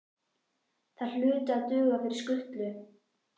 Þær hlutu að duga fyrir skutlu.